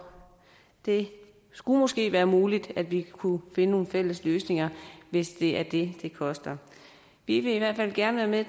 det skulle måske være muligt at vi kunne finde nogle fælles løsninger hvis det er det det koster vi vil i hvert fald gerne være